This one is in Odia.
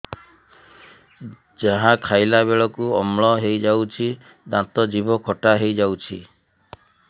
ଯାହା ଖାଇଲା ବେଳକୁ ଅମ୍ଳ ହେଇଯାଉଛି ଦାନ୍ତ ଜିଭ ଖଟା ହେଇଯାଉଛି